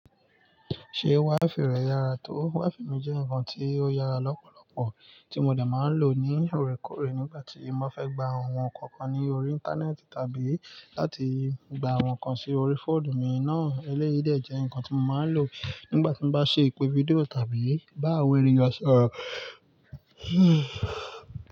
Ṣé WiFi rẹ yára tó? WiFi mi jẹ́ nǹkan ti ó yára lọ́pọ̀lọpọ̀ tí mo de máa ń lò ní orekoore nígbà tí n ba fẹ́ gba àwọn nǹkankan ní orí Íńtánẹ́ẹ̀tì tàbí láti gba àwọn nǹkan sí orí fóònù mi náà. Eléyìí de jẹ́ nǹkan tí mo máa ń lò nígbà tí mo bá ṣe ìpè fídíò tàbí bá awon èniyan sorọ̀